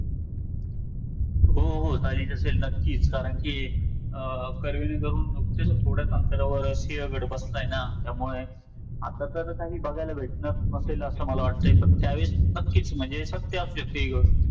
बाहेरून बाहेरून येणारे लोक पण असतात म्हणून तिथे कन्नड वगैरे या सगळ्या भाषा बोलतात .मुंबईमध्ये आ मुंबईमध्ये Bollywood आहे .त्यामुळे सर्व जे famous famous actor वगैरे आहेत ते मुंबईमध्येच राहतात.